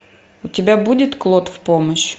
у тебя будет клод в помощь